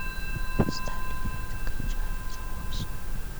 поставь лето кончается осенью